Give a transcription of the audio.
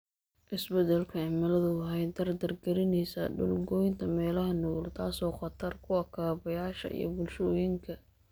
Isbeddelka cimiladu waxay dardar gelinaysaa dhul goynta meelaha nugul, taasoo khatar ku ah kaabayaasha iyo bulshooyinka.